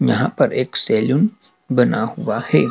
यहां पर एक सैलून बना हुआ है।